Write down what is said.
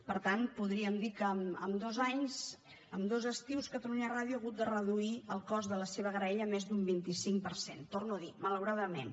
per tant podríem dir que en dos anys en dos estius catalunya ràdio ha hagut de reduir el cost de la seva graella més d’un vint cinc per cent ho torno a dir malauradament